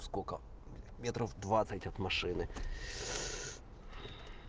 сколько метров двадцать от машины